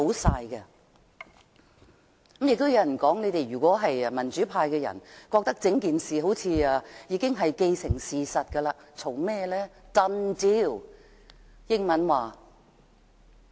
亦有人說，如果民主派覺得整件事好像已經既成事實，為甚麼還要多說？